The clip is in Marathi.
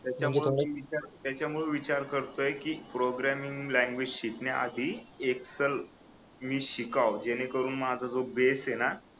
त्याच्यामुळे मी विचार करतोय की प्रोग्रामिंग लँग्वेज शिकण्या आधी एक्सेल मी शिकावं जेणेकरून माझा जो बेस आहे ना